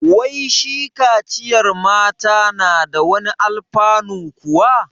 Wai shi kaciyar mata na da wani alfanu kuwa?